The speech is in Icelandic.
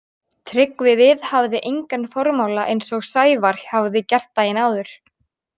Tryggvi viðhafði engan formála eins og Sævar hafði gert daginn áður.